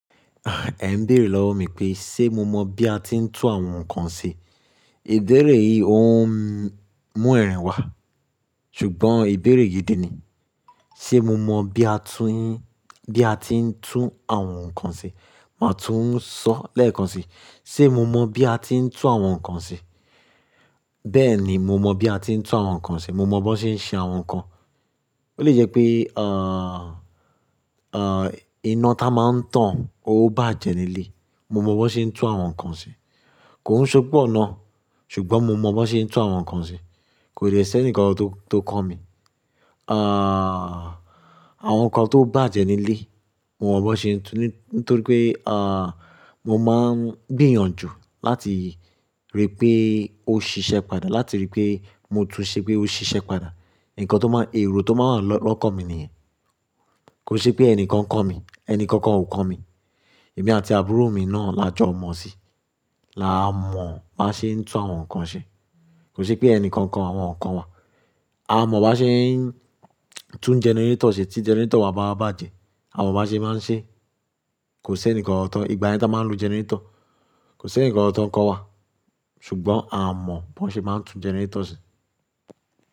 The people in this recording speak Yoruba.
E ń béèrè lọ́wọ́ mi pé, ṣe mo mọ̀ bí a ti ń tún àwọn nǹkan ṣe? Ìbéèrè yìí ó ń mú ẹ̀rín wa, ṣùgbọ́n ìbéèrè gidi ni. Ṣe mo mọ bí a tú yín, bí a ti ń tún àwọn nǹkan ṣe? Màá tún sọ lẹ́ẹ̀kan sí i. Ṣe mo mọ bí a ti ń tún àwọn nǹkan ṣe? Bẹ́ẹ̀ni, mo mọ bí a ti ń tún àwọn nǹkan ṣe. Mo mọ bó ṣe ń ṣe àwọn nǹkan. Ó lè jẹ́ pé, ah, ah, iná tá máa ń tàn ó bàjẹ́ nílé. Mo mọ bó ṣe ń tún àwọn nǹkan ṣe. Kò ń ṣúgbọ́n ná, ṣùgbọ́n mo mọ bó ṣe ń tún àwọn nǹkan ṣe. Kò dè ṣi eni kankan tó, tó kọ́ mi. Ah, àwọn nǹkan tó bàjẹ́ nílé, mo mọ bó ṣe ń tún ní, nítorí pé, ah, mo máa ń gbìyànjú láti rí pé ó ṣiṣẹ́ padà, láti rí pé mo tún ṣé pé ó ṣiṣẹ́ padà. Ǹkan tó máa ń, èrò tó máa ń wa lọ́kan mí nìyẹn. Kò ṣe pé ẹni kan kọ́ mi. Ẹni kankan ò kọ́ mi. Èmi àti àbúrò mi náà la jọ mọ̀ sí i. La mọ̀ bá ṣe ń tún àwọn nǹkan ṣe. Kò ṣe pé ẹni kankan, àwọn nǹkan wa. A mọ̀ bá ṣe ń tún gẹnẹrétọ̀ ṣe tí gẹnẹrétọ̀ wa bá bàjẹ́. A mọ̀ bá ṣe máa ń ṣe. Kò ṣe ẹni kankan tó, ìgbà yen tá a máa ń lo gẹnẹrétọ̀, kò ṣe ẹni kankan tó ń kọ́ wa. Ṣùgbọ́n a mọ̀ bó ṣe máa ń tún gẹnẹrétọ̀ ṣe.